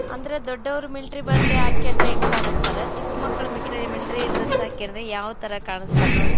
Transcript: ಅಂದ್ರೆ ದೊಡ್ಡವರು ಮಿಲಿಟರಿ ಬಟ್ಟೆ ಹಾಕ್ಕೊಂಡ್ರೆ ಹೆಂಗ್ ಕಾಣಿಸ್ತಾರ ಚಿಕ್ ಮಕ್ಳು ಮಿಲಿಟರಿ ಡ್ರೆಸ್ ಹಾಕ್ಕೊಂಡ್ರೆ ಯಾವ್ ತರ ಕಾಣಿಸ್ತಾರ ನೋಡ್ರಿ.